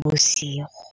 bosigo.